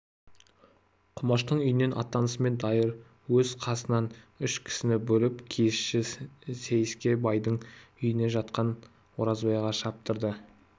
құмаштың үйінен аттанысымен дайыр өз қасынан үш кісіні бөліп киізші сейсеке байдың үйінде жатқан оразбайға шаптырды